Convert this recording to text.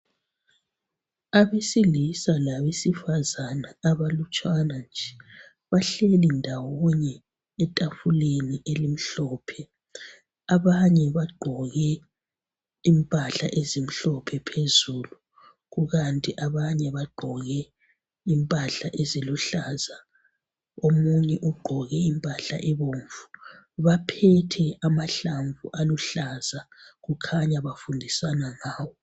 Abesilisa labesifazana abalutshwana nje bahleli ndawonye etafuleni elimhlophe. ABanye bagqoke impahla ezimhlophe phezulu kukanti ke abanye bagqoke eziluhlaza, omunye ugqoke impahla ebomvu. Baphethe amahlamvu aluhlaza kukhanya bafundisana ngawo.